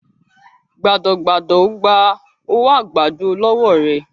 gbádọ gbádọ o gbà owo àgbàdo lówó rẹ